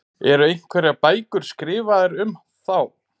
Eru einhverjar bækur skrifaðar um þá?